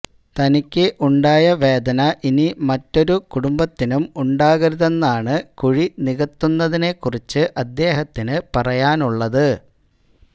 തനിക്ക് ഉണ്ടായ വേദന ഇനി മറ്റൊരു കുടുംബത്തിനും ഉണ്ടാകരുതെന്നാണ് കുഴി നികത്തുന്നതിനെ കുറിച്ച് അദ്ദേഹത്തിന് പറയാനുള്ളത്